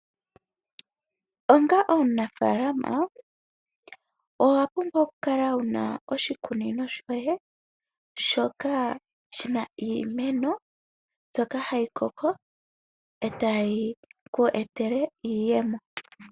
Onga omunafaalama owa pumbwa oku kala wuna oshikunino sho ye shoka shina iimeno mbyoka hayi koko eta yi ku etele iiyemo.